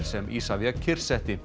sem Isavia